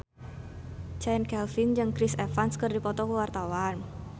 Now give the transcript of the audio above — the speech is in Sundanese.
Chand Kelvin jeung Chris Evans keur dipoto ku wartawan